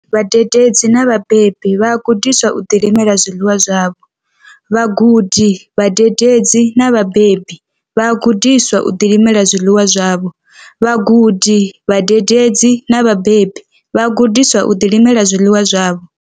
Vhadededzi na vhabebi vha a gudiswa uri vha ḓilimele zwiḽiwa zwavho. Vhagudi, vhadededzi na vhabebi vha a gudiswa uri vha ḓilimele zwiḽiwa zwavho. Vhagudi, vhadededzi na vhabebi vha a gudiswa uri vha ḓilimele zwiḽiwa zwavho.